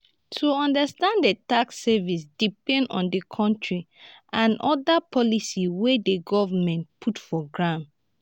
to understand di tax system depend on di country and oda policies wey di governement put for ground